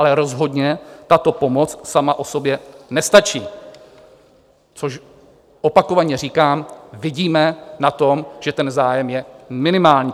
Ale rozhodně tato pomoc sama o sobě nestačí, což, opakovaně říkám, vidíme na tom, že ten zájem je minimální.